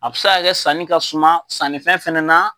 A bɛ se k'a kɛ sanni ka suma sannifɛn fɛnɛ na.